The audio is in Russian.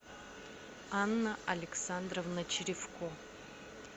анна александровна черевко